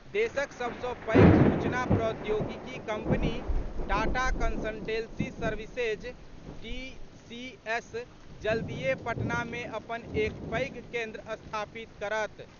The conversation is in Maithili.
देशक सभ सॅ पैघ सूचना प्रौद्योगिकी company Tata consultancy services, TCS जल्दीए पटना मे अपन एक पैघ केन्द्र स्थापित करत।